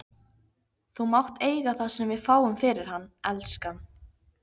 Þú mátt eiga það sem við fáum fyrir hann, elskan.